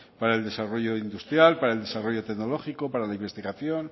para el desarrollo industrial para el desarrollo tecnológico para la investigación